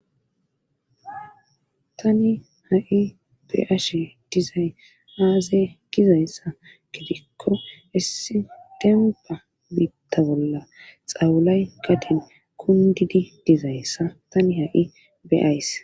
tani ha7i beashe dizay aaze gizayssa gidikko essi demba biitta bolla xawulay gatin kundidi dizayssa tani ha7i beays